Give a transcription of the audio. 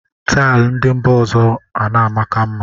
Taịl ndị mba ọzọ ana amaka mma